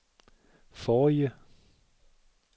forrige